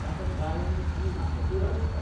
ताका गायन आनी नाचपूय आवडटा.